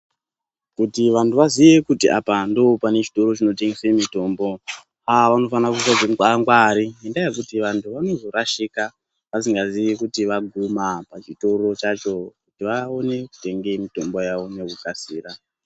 Kuti vantu vaziye kuti apa ndopane zvitoro zvinotengese mitombo, ah vanofanira kuisa zvingwangwari ngendaa yekuti vanhu vanozorashika vasingaziyi kuti vaguma muchitoro chacho kuti vaone kutenge mitombo yavo nekukasira.